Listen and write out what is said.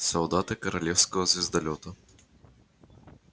солдаты королевского звездолёта